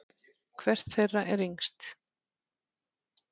Hvert þeirra er yngst?